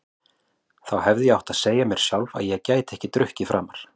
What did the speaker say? Þá hefði ég átt að segja mér sjálf að ég gæti ekki drukkið framar.